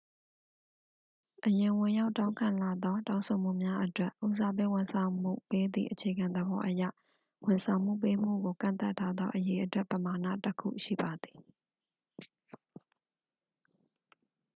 အရင်ဝင်ရောက်တောင်းခံလာသော တောင်းဆိုမှုများအတွက်ဉီးစားပေးဝန်ဆောင်မှုပေးသည့်အခြေခံသဘောအရ ဝန်ဆောင်မှုပေးမှုကို ကန့်သတ်ထားသော အရေအတွက်ပမာဏတစ်ခုရှိပါသည်